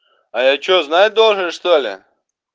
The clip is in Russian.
а я что знать должен что-ли